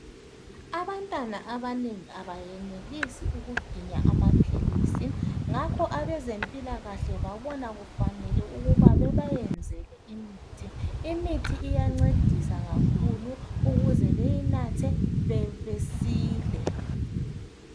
Abantwana abanengi abenelisi ukuginya amaphilisi ngakho abezempilakahle babona kufanele ukuba bebayenzele imithi, imithi iyancedisa kakhulu ukuze beyinathe besile.